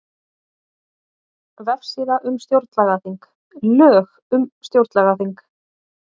Vefsíða um stjórnlagaþing Lög um stjórnlagaþing